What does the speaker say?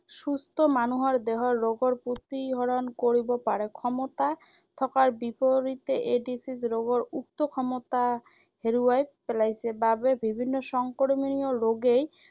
সুস্থ মানুহৰ দেহৰ ৰোগৰ প্ৰতিহৰণ কৰিব পাৰে, ক্ষমতা থকাৰ বিপৰীতে এইড্‌ছ ৰোগীৰ উক্ত ক্ষমতা হেৰুৱাই পেলাইছে বাবে বিভিন্ন সংক্ৰমিত ৰোগেই